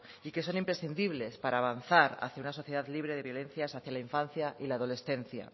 y que son imprescindibles para avanzar hacia una sociedad libre de violencias hacia la infancia y la adolescencia